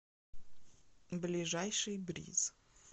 ближайший бриз